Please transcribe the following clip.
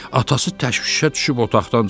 Atası təşvişə düşüb otaqdan çıxdı.